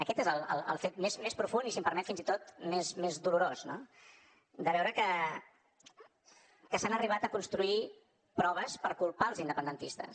aquest és el fet més profund i si m’ho permet fins i tot més dolorós no de veure que s’han arribat a construir proves per culpar els independentistes